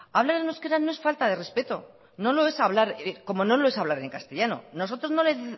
hablar en euskera no es falta de respeto como no lo es hablar en castellano nosotros no le